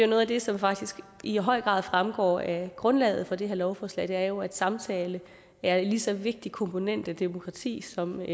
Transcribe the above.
noget af det som faktisk i høj grad fremgår af grundlaget for det her lovforslag er jo at samtalen er en lige så vigtig komponent i demokratiet som